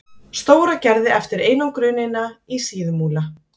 Stóragerði eftir einangrunina í Síðumúla.